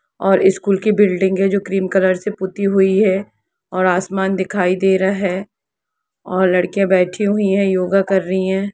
और इस स्कूल की बिल्डिंग हैजो क्रीम कलर से पुती हुई है और आसमान दिखाई दे रहा है और लड़किया बैठी हुई हैयोग कर रही है।